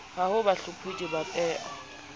ho ba bahlopholli ba peo